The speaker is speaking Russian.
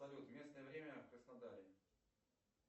салют местное время в краснодаре